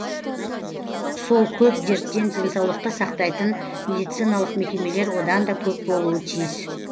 сол көп дерттен денсаулықты сақтайтын медициналық мекемелер одан да көп болуы тиіс